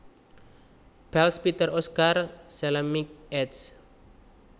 Pels Peter Oscar Salemink eds